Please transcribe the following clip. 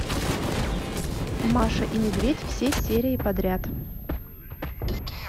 маша и медведь все серии подряд